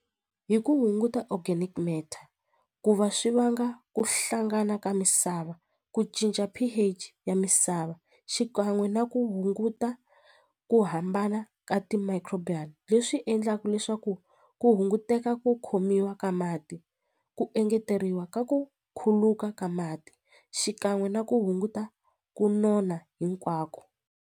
Hi ku hunguta organic matter ku va swi vanga ku hlangana ka misava ku cinca P_H ya misava xikan'we na ku hunguta ku hambana ka ti-micro leswi endlaku leswaku ku hunguteka ku khomiwa ka mati ku engeteriwa ka ku khuluka ka mati xikan'we na ku hunguta ku nona hinkwako.